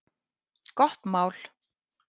Gott mál!